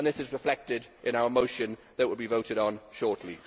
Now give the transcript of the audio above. This is reflected in our motion that will be voted on shortly.